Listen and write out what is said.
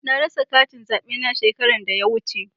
Na rasa katin zaɓe na shekaran da ya wuce.